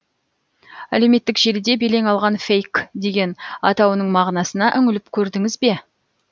әлеуметтік желіде белең алған фейк деген атауының мағынасына үңіліп көрдіңіз бе